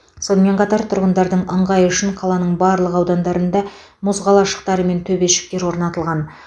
сонымен қатар тұрғындардың ыңғайы үшін қаланың барлық аудандарында мұз қалашықтары мен төбешіктер орнатылған